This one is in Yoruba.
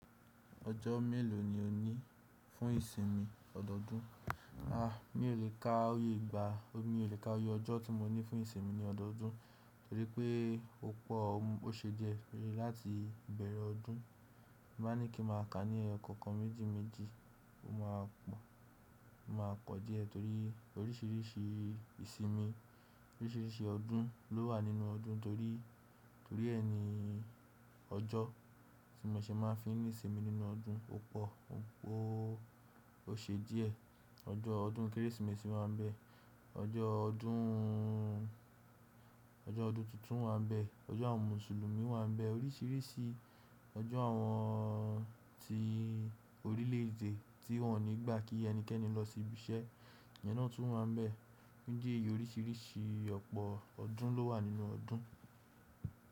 Ọjọ́ mélòó ni o ní fún ìsinmi ọdọọdún? A! Mi ò lè ka oyè igba, mi ò lè ka oyè ọjọ́ tí mo ní fún ìsinmi ní ọdọọdún, torí pé ó pọ̀, ó ṣe díẹ̀ láti bẹ̀rẹ̀ ọdún. Mo máa ní kí ń máa kà ní ọ̀kọ̀ọ̀kan méjì méjì, ó máa pọ̀, ó máa pọ díẹ̀ torí oríṣiríṣi ìsinmi, oríṣiríṣi ọdún ló wà nínú ọdún torí, torí ẹni ọjọ́ tí mo ṣe máa ń fi ní ìsinmi nínú ọdún ó pọ̀, ó ṣe díẹ̀. Ọjọ́ ọdún Kérésìmesì máa ń bẹ, ọjọ́ ọdún, ọjọ́ ọdún tuntun máa ń bẹ, ọjọ́ àwọn Mùsùlùmí wá ń bẹ, oríṣiríṣi ọjọ́ àwọn ti orílè-èdè tí wọ́n ò ní gbà kí ẹnikẹ́ni lọ sí ibi iṣẹ́ iyẹn náà tún wá ń bẹ. Ó jẹ́ èyí, oríṣiríṣi ọ̀pọ̀ ọdún ló wà nínú ọdún.